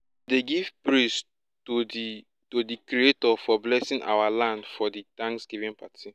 give praise to di to di creator for blesing our land for di thanksgiving party